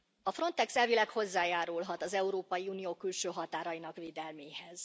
A Frontex elvileg hozzájárulhat az Európai Unió külső határainak védelméhez.